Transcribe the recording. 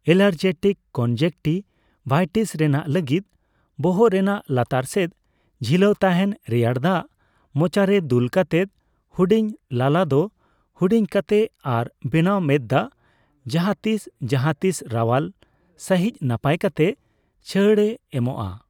Allergic conjunctivitis ᱨᱮᱱᱟᱜ ᱞᱟᱹᱜᱤᱫ, ᱵᱚᱦᱚᱜ ᱨᱮᱱᱟᱜ ᱞᱟᱛᱟᱨ ᱥᱮᱫ ᱡᱷᱤᱞᱟᱹᱣ ᱛᱟᱦᱮᱱ ᱨᱮᱭᱟᱲ ᱫᱟᱜ ᱢᱚᱪᱟᱨᱮ ᱫᱩᱞ ᱠᱟᱛᱮᱫ ᱦᱩᱰᱤᱧ ᱞᱟᱞᱟ ᱫᱚ ᱦᱩᱰᱤᱧ ᱠᱟᱛᱮ ᱟᱨ ᱵᱮᱱᱟᱣ ᱢᱮᱸᱛᱫᱟᱜ ᱡᱟᱦᱟᱛᱤᱥ ᱡᱟᱦᱟᱛᱤᱥ ᱨᱟᱣᱟᱞ ᱥᱟᱹᱦᱤᱡ ᱱᱟᱯᱟᱭ ᱠᱟᱛᱮ ᱪᱷᱟᱲ ᱮ ᱮᱢᱚᱜᱼᱟ ᱾